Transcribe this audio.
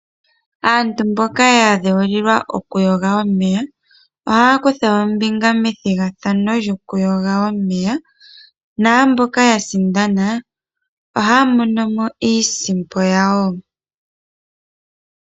Aantu mboka ya dheulilwa okuyoga omeya ohaya kutha ombinga methigathano lyokuyoga omeya. Naamboka ya sindana ohaya mono mo iisimpo yawo.